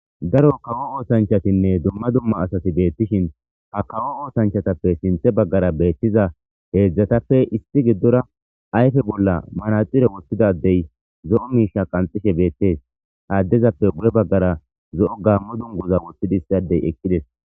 Daro kawo osanchatinne dumma dumma asati betishin hakawo osanchatappe sinthe bagara betizza hezzatape gidora issi adey ayffe bola manaxire wothida addey zo'o misha qanxishe bettes ha adezappe guye bagara zo'o gamo dunguza wothidi issi addey eqidees